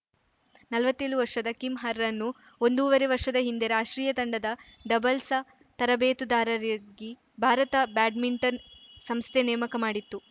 ನಲ್ವತ್ತೇಳು ವರ್ಷದ ಕಿಮ್‌ ಹರ್‌ರನ್ನು ಒಂದೂವರೆ ವರ್ಷದ ಹಿಂದೆ ರಾಷ್ಟ್ರೀಯ ತಂಡದ ಡಬಲ್ಸ ತರಬೇತುದಾರರಾಗಿ ಭಾರತ ಬ್ಯಾಡ್ಮಿಂಟನ್‌ ಸಂಸ್ಥೆ ನೇಮಕ ಮಾಡಿತ್ತು